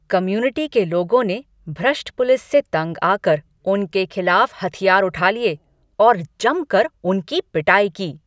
Community के लोगों ने भ्रष्ट पुलिस से तंग आकर उनके खिलाफ हथियार उठा लिए और जमकर उनकी पिटाई की।